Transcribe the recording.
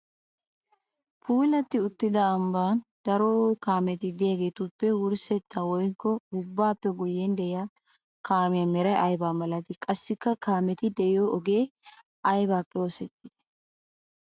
Puulati uttidda ambban daro kaametti de'iyaagettuppe wurssetta woykko ubbappe guyen de'iyaa kaamiyaa meray aybba malatti? Qassikka kaametti de'iyo ogee aybbippe oosetti?